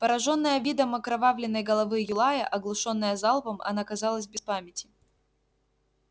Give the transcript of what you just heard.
поражённая видом окровавленной головы юлая оглушённая залпом она оказалась без памяти